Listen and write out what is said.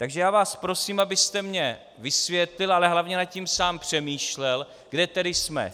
Takže já vás prosím, abyste mně vysvětlil, ale hlavně nad tím sám přemýšlel, kde tedy jsme.